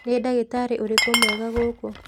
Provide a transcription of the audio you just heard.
Nĩ ndagitarĩ ũrĩkũ mwega gũkũ?.